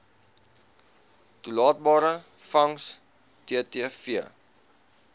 toelaatbare vangs ttv